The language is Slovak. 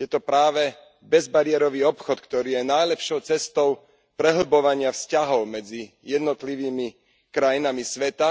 Je to práve bezbariérový obchod, ktorý je najlepšou cestou prehlbovania vzťahov medzi jednotlivými krajinami sveta,